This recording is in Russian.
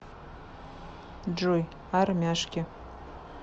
джой армяшки